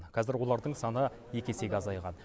қазір олардың саны екі есеге азайған